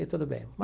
E tudo bem.